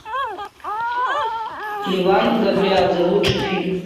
леван габриадзе лучший фильм